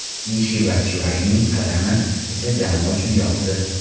Mishi Batshuayining qadami esa jamoa uchun yoqdi.